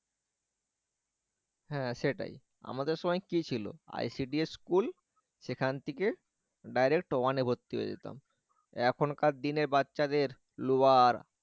হ্যাঁ সেটাই আমাদের সময় কি ছিল ICD school সেখান থেকে direct one এ ভর্তি হয়ে যেতাম এখনকার দিনে বাচ্চাদের lower